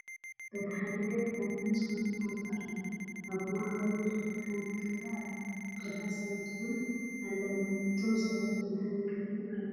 በቲ ሓደ ገፅ ለምለም ዝኮነ ቦታ ኣሎ። ኣብ ማእከል ድማ ሓንቲ ገዛ ኣላ። ብዙሓት ሰባት እውን ኣለው እቶም ሰባት እንታይ ይገብሩ ኣለው?